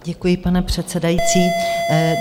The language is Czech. Děkuji, pane předsedající.